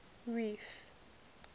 reef